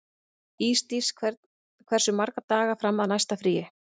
Ísdís, hversu margir dagar fram að næsta fríi?